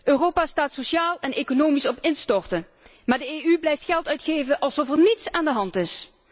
Europa staat sociaal en economisch op instorten, maar de EU blijft geld uitgeven alsof er niets aan de hand is.